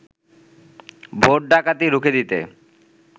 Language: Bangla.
ভোট ডাকাতি রুখে দিতে